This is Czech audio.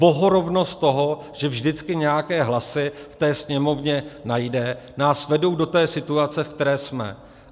Bohorovnost toho, že vždycky nějaké hlasy v té Sněmovně najde, nás vedou do té situace, ve které jsme.